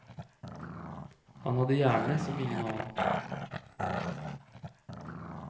Han hadde hjerne som ingen annen.